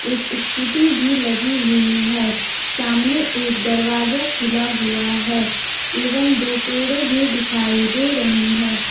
एक स्कूटी भी लगी हुई है सामने एक दरवाजा खुला हुआ है एवं दो पेड़े भी दिखाई दे रही हैं।